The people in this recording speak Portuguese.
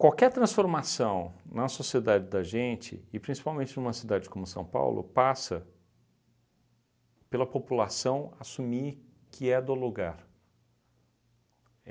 Qualquer transformação na sociedade da gente, e principalmente numa cidade como São Paulo, passa pela população assumir que é do lugar.